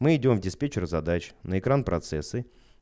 мы идём диспетчер задач на экран процессы